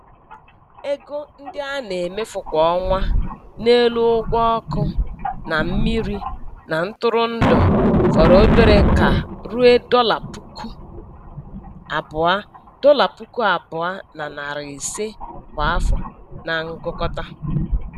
Ego ndị a na-emefu kwa ọnwa n'elu ụgwọ ọkụ na mmiri na ntụrụndụ fọrọ obere ka ruo dọla puku abụọ dọla puku abụọ na narị ise kwa afọ na ngụkọta.